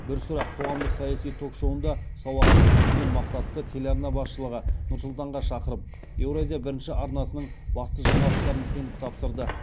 бір сұрақ қоғамдық саяси ток шоуын да сауатты жүргізген мақсатты телеарна басшылығы нұр сұлтанға шақырып еуразия бірінші арнасының басты жаңалықтарын сеніп тапсырды